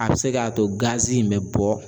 A bɛ se k'a to gazi in bɛ bɔ.